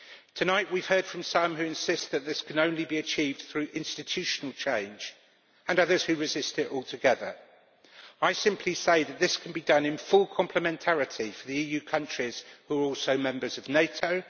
Tonight we have heard from some who insist that this can only be achieved through institutional change, and others who resist it altogether. I simply say that this can be done in full complementarity for the EU countries which are also members of NATO.